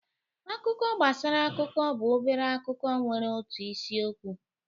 Akụkọ gbasara akụkọ bụ obere akụkọ nwere otu isi okwu